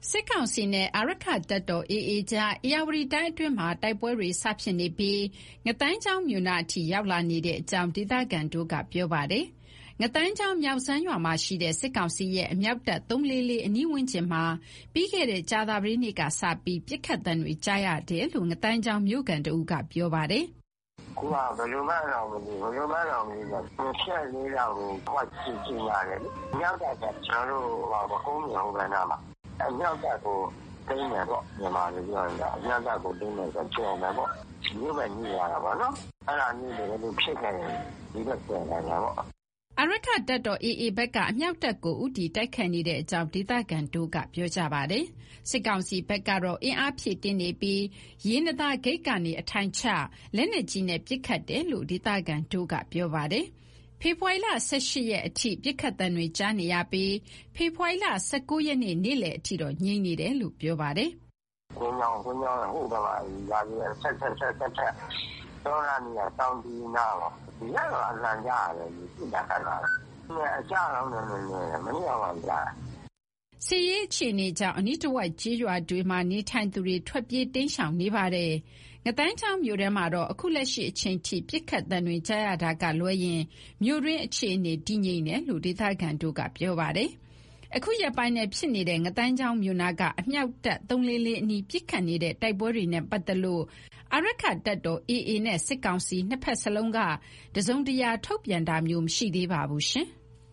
စစ်ကောင်စီနဲ့ အာရက္ခတပ်တော် AA ကြား ဧရာဝတီတိုင်းအတွင်းမှာ တိုက်ပွဲတွေ စဖြစ်နေပြီး ငါးသိုင်းချောင်းမြို့နားအထိ ရောက်လာနေတဲ့အကြောင်း ဒေသခံတွေက ပြောကြပါတယ်။ ငါးသိုင်းချောင်း၊ မြောက်စမ်းရွာမှာရှိတဲ့ စစ်ကောင်စီရဲ့ အမြောက်တပ် ၃၄၄ အနီးဝန်းကျင်မှာ ပြီးခဲ့တဲ့ ကြာသပတေးနေ့ကစပြီး ပစ်ခတ်သံတွေ ကြားနေရနေတယ်လို့ ငါးသိုင်းချောင်းမြို့ခံတဦးက ပြောပါတယ်။ "အခုက ဘယ်လိုမှန်းတောင် မသိဘူး။ ဘယ်လိုမှန်းတောင် မသိဘူးဆိုတာ ၂၄ လောက်ကို အမြောက်တပ်ကို သိမ်းမယ်ပေါ့။ အမြောက်တပ်ဆိုတာ ကုန်းမြင့် ဟိုဘက်နားမှာ။ အမြောက်တပ်ကို သိမ်းမယ်ဆိုရင်တော့ ကျော်မယ်ပေါ့။ မြို့ဘက် နီးသွားတာပေါ့နော်။ အဲဒါမျိုး တကယ်လို့ဖြစ်ခဲ့ရင် ဒီဘက်ကျော်နိုင်တယ်ပေါ့။" အာရက္ခတပ်တော် AA ဘက်က အမြောက်တပ်ကို ဦးတည်တိုက်ခိုက်နေတဲ့အကြောင်း ဒေသခံတွေက ပြောဆိုပါတယ်။ စစ်ကောင်စီဘက်ကတော့ အင်အားဖြည့်တင်းနေပြီး ရေနံသာဂိတ်ကနေ အထိုင်ချပြီး လက်နက်ကြီးနဲ့ ပစ်ခတ် နေတယ်လို့ ဒေသခံတွေက ပြောပါတယ်။ ဖေဖော်ဝါရီလ ၁၈၊ မနေ့ကအထိ ပစ်ခတ်သံတွေ ကြားနေရပြီး၊ ဒီကနေ့ နေ့လည်အထိတော့ ငြိမ်နေတယ်လို့ ပြောပါတယ်။ "ကွင်းကျောင်းရဲ့ ဟိုးဘက်က ရွာတွေအထပ်ထပ် တောလမ်းနေရာ တောင်ခြေနားပေါ့။ ညတုန်းက အသံကြားရတယ်၊ ပစ်တာခတ်တာတွေ။ ဒီနေ့ကတော့ အကြားနည်းတယ်။ မနေ့ကတုန်းက ကြားရတယ်။" စစ်ရေးအခြေအနေကြောင့် အနီးတဝိုက် ကျေးရွာတွေမှာ နေထိုင်သူတွေ ထွက်ပြေးတိမ်းရှောင်နေပါတယ်။ ငါးသိုင်းချောင်းမြို့ထဲမှာတော့ အခုလက်ရှိအချိန်အထိ ပစ်ခတ်သံတွေ ကြားရတာကလွဲရင် မြို့တွင်းအခြေအနေ တည်ငြိမ်နေတယ်လို့ ဒေသခံတွေက ပြောပါတယ်။ အခုရက်ပိုင်းထဲ ဖြစ်ပွားနေတဲ့ ငါးသိုင်းချောင်းမြို့နားက အမြောက်တပ် ၃၄၄ အနီး ပစ်ခတ်နေတဲ့ တိုက်ပွဲတွေနဲ့ ပတ်သက်လို့ အာရက္ခတပ်တော် AA နဲ့ စစ်ကောင်စီ ၂ဖက်လုံးက တစုံတရာ ထုတ်ပြန်တာမျိုး မရှိသေးပါဘူး။